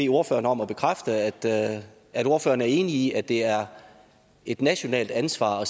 ordføreren om at bekræfte at at ordføreren er enig i at det er et nationalt ansvar